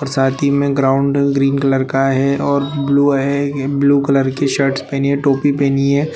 और साथ ही में ग्राउंड ग्रीन कलर का है और ब्लू है ब्लू कलर की शर्ट पहनी हैं टोपी पहनी है